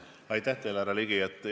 Aitäh teile, härra Ligi!